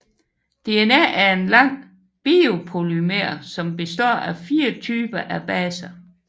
DNA er en lang biopolymer som består af fire typer af baser